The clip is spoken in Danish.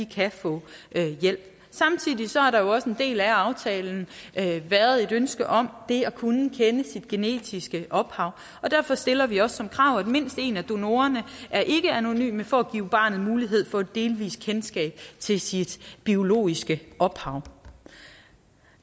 kan få hjælp samtidig har der jo også som en del af aftalen været et ønske om det at kunne kende sit genetiske ophav og derfor stiller vi også som krav at mindst en af donorerne er ikkeanonym for at give barnet mulighed for delvis kendskab til sit biologiske ophav